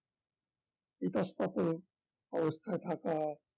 ইতস্তত অবস্থায় থাকা